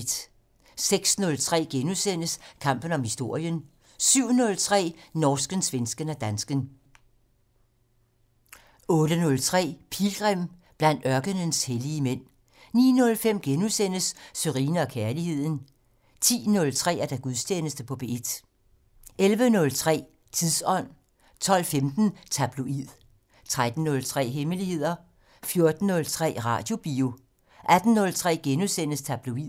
06:03: Kampen om historien * 07:03: Norsken, svensken og dansken 08:03: Pilgrim - Blandt ørkenens hellige mænd 09:05: Sørine & Kærligheden * 10:03: Gudstjeneste på P1 11:03: Tidsånd 12:15: Tabloid 13:03: Hemmeligheder 14:03: Radiobio 18:03: Tabloid *